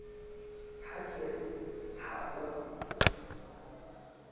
ha ke re ha ho